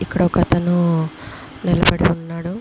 Crack ఉన్నాడు. కనుక Mary మాత విగ్రహం ఉంది.